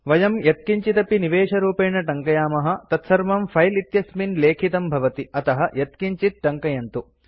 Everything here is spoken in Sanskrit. वयं यत्किञ्चिदपि निवेशरूपेण टङ्कयामः तत्सर्वं फिले इत्यस्मिन् लेखितं भवति अतः यत्किञ्चित् टङ्कयन्तु